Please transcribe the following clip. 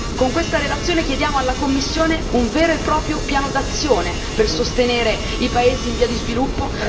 Con questa relazione chiediamo alla Commissione un vero e proprio piano d'azione per sostenere i paesi in via di sviluppo